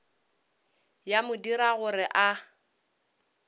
ya mo dira gore a